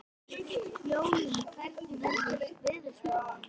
Jólín, hvernig er veðurspáin?